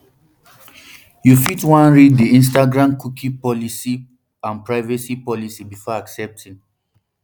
you fit wan read di instagramcookie policy and privacy policybefore accepting